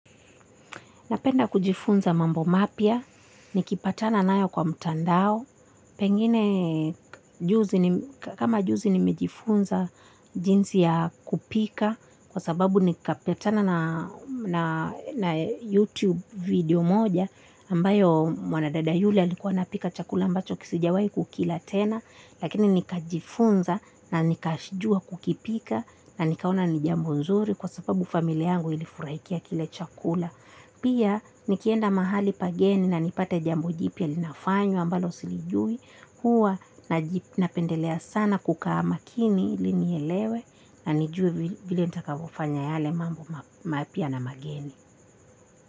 Napenda kujifunza mambo mapya, nikipatana nayo kwa mtandao, pengine kama juzi nimejifunza jinsi ya kupika kwa sababu nikipatana na na YouTube video moja ambayo mwanadada yule alikuwa anapika chakula ambacho sijawai kukila tena lakini nikajifunza na nikajua kukipika na nikaona ni jambo nzuri kwa sababu familia yangu ilifurahikia kile chakula. Pia nikienda mahali pageni na nipate jambo jipya linafanywa ambalo silijui huwa na napendelea sana kukaa makini ili nielewe na nijue vile nitakavofanya yale mambo mapya na mageni.